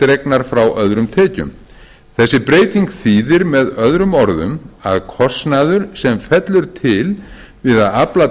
dregnar frá öðrum tekjum þessi breyting þýðir með öðrum orðum að kostnaður sem fellur til við að afla